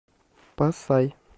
пасай